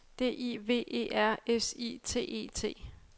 D I V E R S I T E T